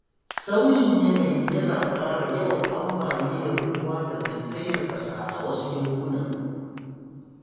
Sauyin yanayi yana ƙara yawan ambaliyar ruwa da zaizayar ƙasa a wasu yankunan.